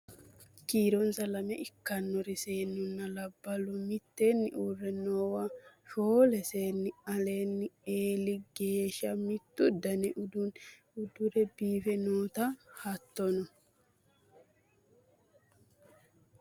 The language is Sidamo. kiironsa lamala ikkannori seennunna labballu mitteenni uurre noowa shoole seenni alinni eeli geeshsha mittu dani uddano uddire biife noota hattono